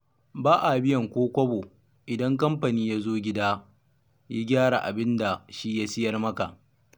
Ba a biyan ko kobo, idan kamfani ya zo gida ya gyara abin da shi ya sayar maka.